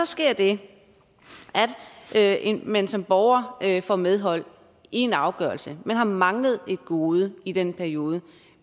sker det at man som borger får medhold i en afgørelse man har manglet et gode i den periode